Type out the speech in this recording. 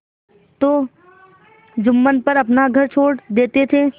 तो जुम्मन पर अपना घर छोड़ देते थे